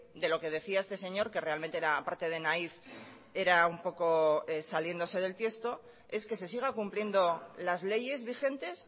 de lo que decía este señor que realmente era aparte de naif era un poco saliéndose del tiesto es que se siga cumpliendo las leyes vigentes